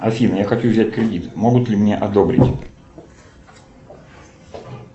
афина я хочу взять кредит могут ли мне одобрить